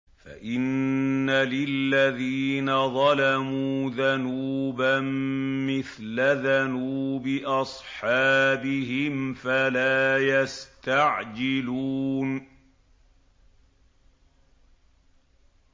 فَإِنَّ لِلَّذِينَ ظَلَمُوا ذَنُوبًا مِّثْلَ ذَنُوبِ أَصْحَابِهِمْ فَلَا يَسْتَعْجِلُونِ